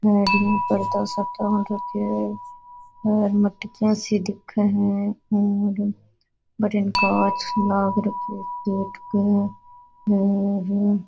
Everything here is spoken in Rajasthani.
गाड़िया पे पर्दा सा तान रखे है और मटकियों सी दिखे है और भटीन कांच लाग राखयो है गेट पे और --